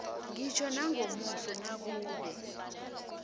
ngitjho nangomuso nakube